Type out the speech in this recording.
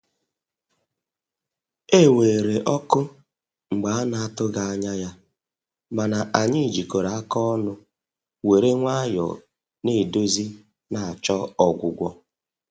E weere ọkụ mgbe a na atụghị anya ya, mana anyị jikọrọ aka ọnụ were nwayọ na edozi na achọ ọgwụgwọ